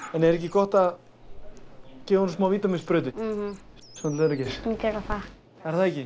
en er ekki gott að gefa honum smá vítamínsprautu svona til öryggis við skulum gera það er það ekki